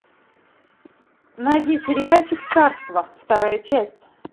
найди сериальчик царство вторая часть